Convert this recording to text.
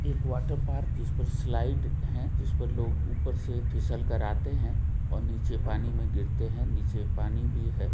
एक water park जिसमें slide है जिस पर लोग ऊपर से फिसल कर आते हैं और नीचे पानी में गिरते हैं नीचे पानी भी है।